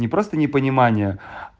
не просто непонимание